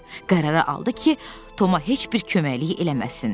Qərara aldı ki, Toma heç bir köməkliyi eləməsin.